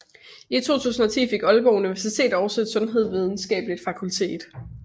I 2010 fik Aalborg Universitet også et sundhedsvidenskabeligt fakultet